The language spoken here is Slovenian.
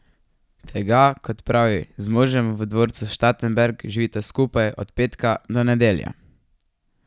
Tega, kot pravi, z možem v dvorcu Štatenberg skupaj živita od petka do nedelje.